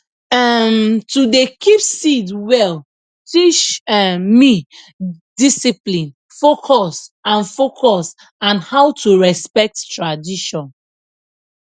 um to dey keep seed well teach um me discipline focus and focus and how to respect tradition